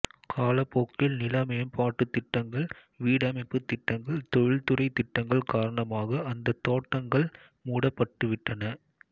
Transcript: காலப் போக்கில் நில மேம்பாட்டுத் திட்டங்கள் வீடமைப்புத் திட்டங்கள் தொழில்துறை திட்டங்கள் காரணமாக அந்தத் தோட்டங்கள் மூடப்பட்டு விட்டன